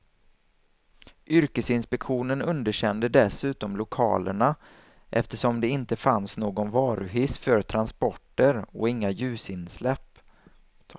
Yrkesinspektionen underkände dessutom lokalerna, eftersom det inte fanns någon varuhiss för transporter och inga ljusinsläpp.